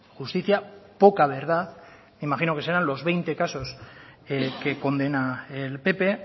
justicia poca verdad imagino que serán los veinte casos que condena el pp